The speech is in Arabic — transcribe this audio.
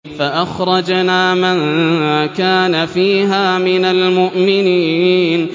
فَأَخْرَجْنَا مَن كَانَ فِيهَا مِنَ الْمُؤْمِنِينَ